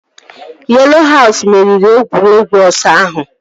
Yelo haus meriri egwuregwu ọsọ ahụ